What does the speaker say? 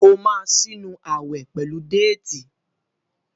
o má sí nù awe pẹlú Déètì.